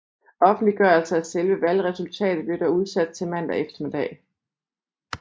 Offentliggørelse af selve valgresultatet blev dog udsat til mandag eftermiddag